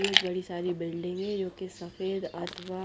एक बड़ी सारी बिल्डिंग है एक सफ़ेद आत्मा--